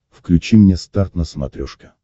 включи мне старт на смотрешке